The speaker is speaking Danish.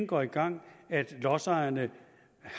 går i gang at lodsejerne